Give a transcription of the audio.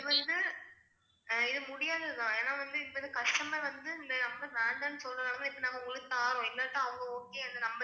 இது வந்து அஹ் இது முடியாது தான் ஏன்னா வந்து இப்ப customer வந்து customer வந்து இந்த number வேண்டாம்னு சொன்னனாலத்தான் இப்போ நாங்க உங்களுக்கு தாறோம் இல்லாட்ட அவங்க okay அந்த number